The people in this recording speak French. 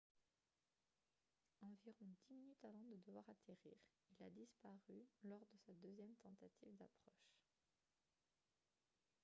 environ dix minutes avant de devoir atterrir il a disparu lors de sa deuxième tentative d'approche